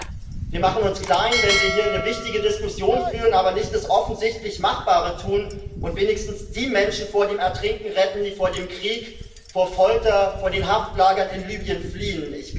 Ich finde, wir machen uns klein, wenn wir hier eine wichtige Diskussion führen, aber nicht das offensichtlich Machbare tun und wenigstens die Menschen vor dem Ertrinken retten, die vor dem Krieg, vor Folter, vor den Haftlagern in Libyen fliehen.